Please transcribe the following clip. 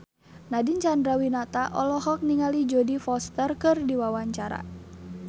Nadine Chandrawinata olohok ningali Jodie Foster keur diwawancara